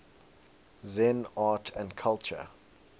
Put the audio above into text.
zen art and culture